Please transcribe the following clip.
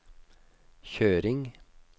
kjøring